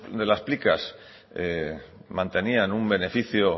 de las mantenían un beneficio